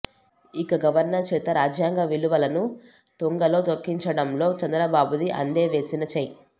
ఇక గవర్నర్ చేత రాజ్యాంగ విలువలను తుంగలో తొక్కించడంలో చంద్రబాబుది అందె వేసిన చెయ్యి